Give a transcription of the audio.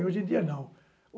Hoje em dia, não.